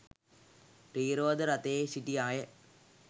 ත්‍රිරෝද රථයේ සිටි අය